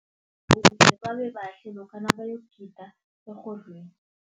babe bahle lokha nabayokugida erhodlweni.